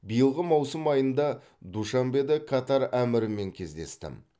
биылғы маусым айында душанбеде катар әмірімен кездестім